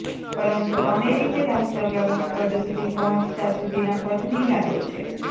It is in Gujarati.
પરંતુ અમેરિકી રાષ્ટ્રપ્રમુખપદ સુધી પહોંચતાં સુધીના પથની યાદો છે